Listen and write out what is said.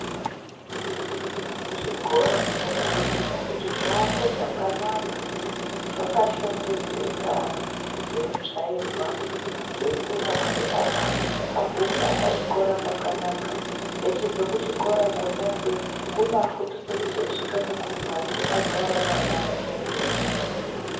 Zvikora zvinokurudzirwa kuti zviakwe zvakanaka zvakashongedzeka zveitsvairwa zveikirinwa kuti ana agukewo pachikora pakanaka wobva kuchikora pona ipapo kuvafundisa esvika kumbatso agare Ari ana akashambidzika.